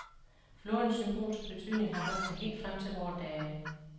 Flodens symbolske betydning har holdt sig helt frem til vore dage.